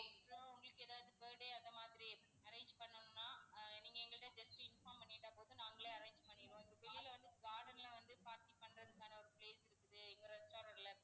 உங்களுக்கு ஏதாவது birthday அந்த மாதிரி arrange பண்ணனுன்னா நீங்க எங்கக்கிட்ட just inform பண்ணிட்டா போதும் நாங்களே arrange பண்ணிடுவோம். கீழ வந்து garden ல வந்து party பண்றதுக்கான place இருக்குது எங்க restaurant ல